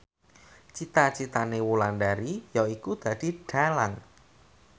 cita citane Wulandari yaiku dadi dhalang